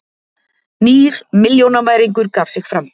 Nýr milljónamæringur gaf sig fram